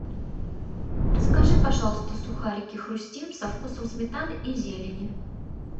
закажи пожалуйста сухарики хрустим со вкусом сметаны и зелени